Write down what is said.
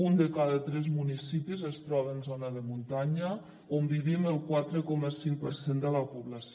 un de cada tres municipis es troba en zona de muntanya on vivim el quatre coma cinc per cent de la població